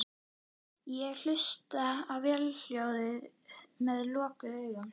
Ég hlusta á vélarhljóðið með lokuðum augum.